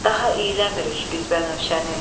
Daha iyləmirik biz bənövşəni.